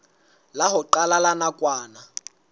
la ho qala la nakwana